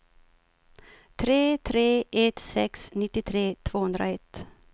tre tre ett sex nittiotre tvåhundraett